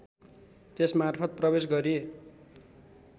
त्यसमार्फत प्रवेश गरी